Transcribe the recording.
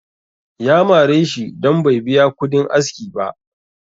ya mare shi don Bai biya kudin aski ba